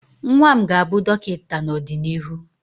nwa m ga-abụ dọkịta n'ọdịnihu